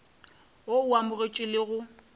wo o amogetšwego le go